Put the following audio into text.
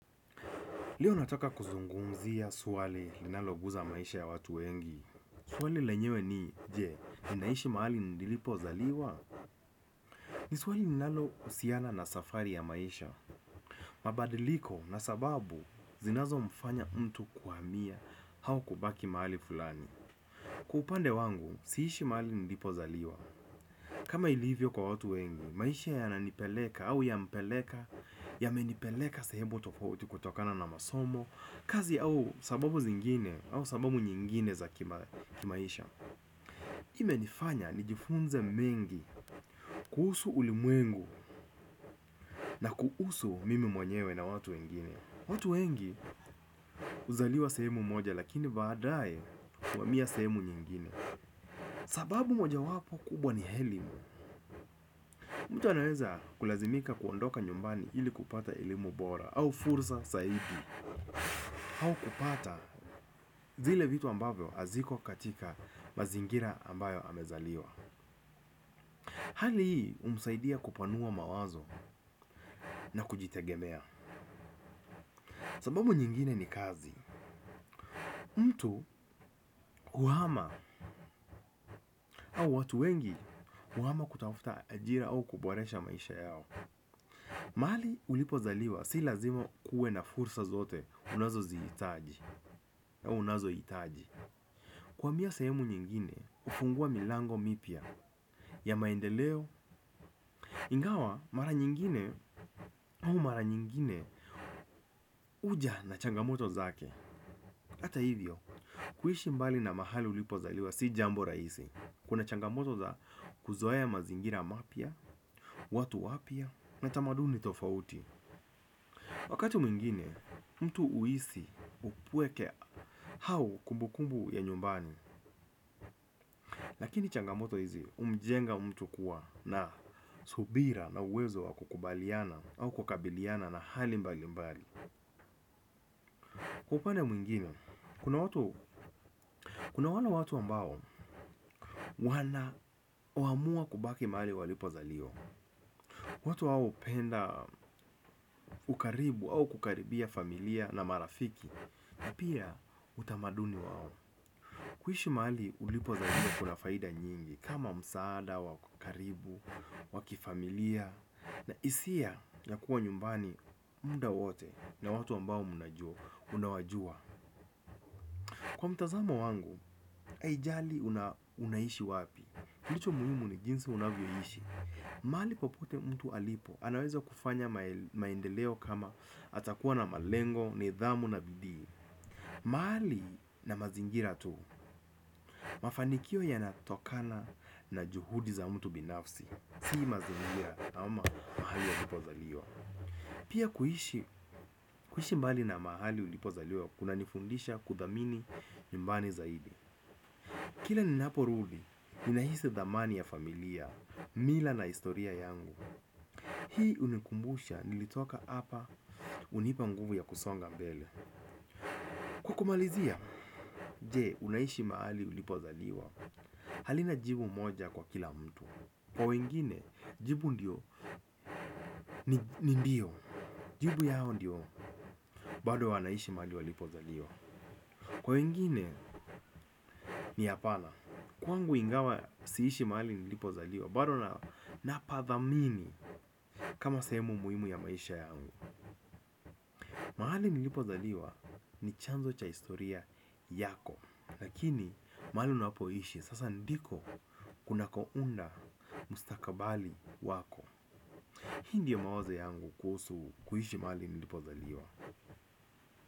Leo nataka kuzungumzia swali linaloguza maisha ya watu wengi. Swali lenyewe ni, je, ninaishi mahali nilipozaliwa. Ni swali ninalohusiana na safari ya maisha. Mabadiliko na sababu zinazomfanya mtu kuhamia au kubaki mahali fulani. Kwa upande wangu siishi mahali nilipozaliwa. Kama ilivyo kwa watu wengi, maisha yananipeleka au yampeleka, yamenipeleka sehemu tofoti kutokana na masomo, kazi au sababu zingine au sababu nyingine za kimaisha. Imenifanya nijifunze mengi kuhusu ulimwengu na kuhusu mimi mwenyewe na watu wengine. Watu wengi huzaliwa sehemu moja lakini baadaye kuhamia sehemu nyingine. Sababu mojawapo kubwa ni elimu. Mtu anaweza kulazimika kuondoka nyumbani ili kupata elimu bora au furza saidi au kupata zile vitu ambavyo haziko katika mazingira ambayo amezaliwa. Hali hii humsaidia kupanua mawazo na kujitegemea. Sababu nyingine ni kazi. Mtu kuhama au watu wengi kuhama kutafuta ajira au kuboresha maisha yao. Mahali ulipozaliwa si lazima kuwe na fursa zote unazozihitaji zihitaji. Kuhamia sehemu nyingine hufungua milango mipya ya maendeleo ingawa mara nyingine au mara nyingine huja na changamoto zake hata hivyo kuishi mbali na mahali ulipozaliwa si jambo rahisi kuna changamoto za kuzoea mazingira mapya watu wapya na tamaduni tofauti. Wakati mwingine mtu huhisi upweke au kumbukumbu ya nyumbani. Lakini changamoto hizi humjenga mtu kuwa na subira na uwezo wa kukubaliana au kukabiliana na hali mbalimbali. Kwa upande mwengine, kuna wale watu ambao wanaamua kubaki mahali walipozaliwa. Watu hao hupenda ukaribu au kukaribia familia na marafiki. Na pia utamaduni wao. Kuishi mahali ulipozaliwa kuna faida nyingi. Kama msaada wa karibu wa kifamilia na hisia ya kuwa nyumbani muda wote na watu ambao unajua. Unawajua. Kwa mtazamo wangu, haijali unaishi wapi kilicho muhimu ni jinsi unavyoishi. Mahali popote mtu alipo, anaweza kufanya maendeleo kama atakuwa na malengo, nidhamu na bidii. Mahali na mazingira tu, mafanikio yanatokana na juhudi za mtu binafsi. Sii mazingira ama mahali ulipozaliwa. Pia kuishi mbali na mahali ulipozaliwa, kunanifundisha kuthamini nyumbani zaidi. Kila ninaporudi, ninahisi thamani ya familia, mila na historia yangu. Hii hunikumbusha, nilitoka apa, hunipa nguvu ya kusonga mbele. Kwa kumalizia, jee, unaishi mahali ulipozaliwa. Halina jibu moja kwa kila mtu. Kwa wengine, jibu ndio, ni ndio. Jibu yao ndio, bado wanaishi mahali walipozaliwa. Kwa wengine, ni hapana. Kwangu ingawa, siishi mahali nilipozaliwa bado na napathamini kama sehemu muhimu ya maisha yangu. Mahali nilipozaliwa ni chanzo cha historia yako. Lakini mahali unakoishi sasa ndiko kunakounda mustakabali wako. Hii ndiyo mawazo yangu kuhusu kuishi mahali nilipozaliwa.